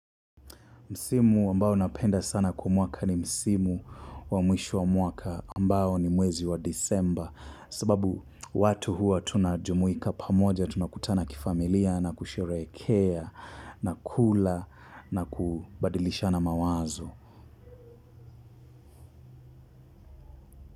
Msimu ambao napenda sana kwa mwaka ni msimu wa mwisho wa mwaka ambao ni mwezi wa Desemba sababu watu huwa tunajumuika pamoja tunakutana kifamilia na kusherehekea na kula na kubadilishana mawazo.